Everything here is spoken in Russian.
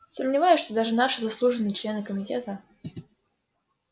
сомневаюсь что даже наши заслуженные члены комитета